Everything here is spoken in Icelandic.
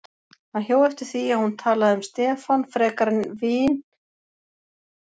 Hann hjó eftir því að hún talaði um Stefán frekar sem vin en væntanlegan kærasta.